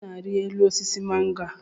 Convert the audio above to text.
Onye na-arị elu osisi mango a?